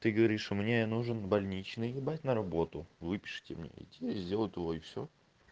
ты говоришь мне нужен больничный ебать на работу выпишите мне и тебе сделают его и всё